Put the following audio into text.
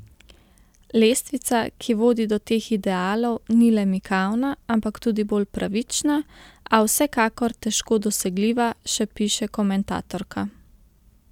Lestvica, ki vodi do teh idealov, ni le mikavna, ampak tudi bolj pravična, a vsekakor težko dosegljiva, še piše komentatorka.